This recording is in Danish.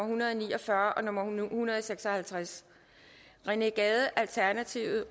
hundrede og ni og fyrre og beslutningsforslag nummer b en hundrede og seks og halvtreds rené gade